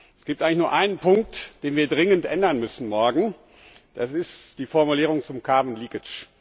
Es gibt eigentlich nur einen Punkt, den wir dringend ändern müssen morgen, das ist die Formulierung zum carbon leakage